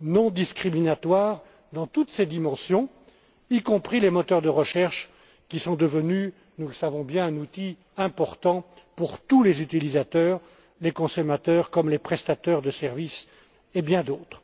non discriminatoire dans toutes ses dimensions, y compris les moteurs de recherche qui sont devenus, nous le savons bien, un outil important pour tous les utilisateurs, les consommateurs comme les prestataires de services et bien d'autres.